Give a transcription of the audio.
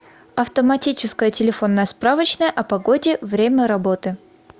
автоматическая телефонная справочная о погоде время работы